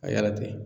A yaratɛ